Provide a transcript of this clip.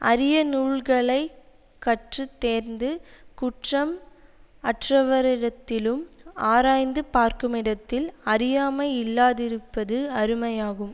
அரிய நூல்களைத் கற்று தேர்ந்து குற்றம் அற்றவரிடத்திலும் ஆராய்ந்து பார்க்குமிடத்தில் அறியாமை இல்லாதிருப்பது அருமையாகும்